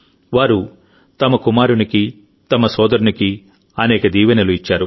వారు తమ కుమారునికి తమ సోదరునికి అనేక దీవెనలు ఇచ్చారు